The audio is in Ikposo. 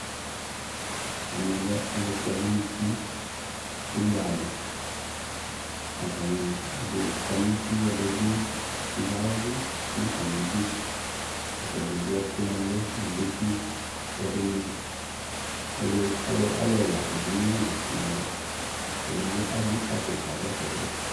ɛmɛ lɛ alʋ kpɔ ɛlʋ nʋʋti, ʋgbɛ alʋ atani ɛdi kɔnʋ uti ɛdibi yavʋ nʋ atami idʋ, atagya ɛwʋ ɛkʋ nʋ ɛlʋ mʋ dʋkʋʋ, ɛdini alʋ ɛla bi ɛwʋ ɛkʋ nʋ ɛlʋ ,ɛdigbɔ azɛ ikpakɔ kayɛsɛ dʋ